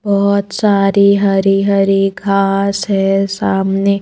बहुत सारी हरी-हरी घास है सामने --